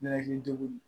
N'a hakili jugu don